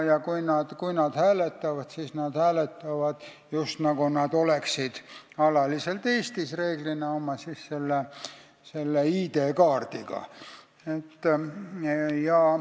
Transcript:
Ja kui nad hääletavad, siis nad hääletavad reeglina oma ID-kaardiga, justnagu nad oleksid alaliselt Eestis.